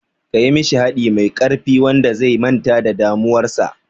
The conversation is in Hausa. Kayi mishi haɗi mai ƙarfi wanda zai manta da damuwar sa